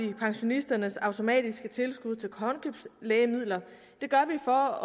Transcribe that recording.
vi pensionisternes automatiske tilskud til håndkøbslægemidler det gør vi for